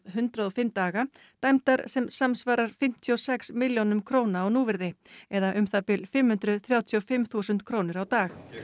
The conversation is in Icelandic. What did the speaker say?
hundrað og fimm daga dæmdar sem samsvarar fimmtíu og sex milljónum króna á núvirði eða um það bil fimm hundruð þrjátíu og fimm þúsund krónur á dag